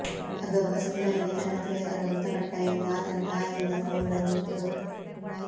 ಅದೊಬ್ಬ ಸುಂದರಿಗೆ ತನ್ನ ಪ್ರಿಯಕರ ಮೃತಪಟ್ಟ ಎಂದು ಆತನ ತಾಯಿಯಿಂದ ಫೋನ್ ಬಂದಿತ್ತು